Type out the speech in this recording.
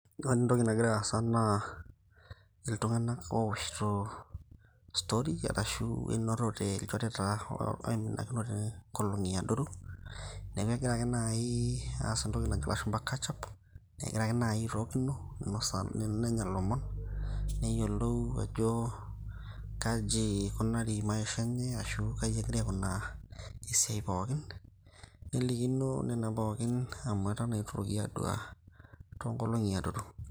Ore entoki nagira aasa naa iltunganak ooshito story ashu enotote tonkolongi adoruk. niaku egira nai aas entoki najo ilashumba catch up . egira ake nai airorokino airo ilomon neyiolou ajo kaji ikunari maisha enye ashu kaji egira aikunaa esiai pookin .